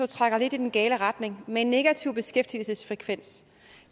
trækker lidt i den gale retning med en negativ beskæftigelsesfrekvens